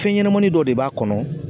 Fɛn ɲɛnɛmani dɔ de b'a kɔnɔ.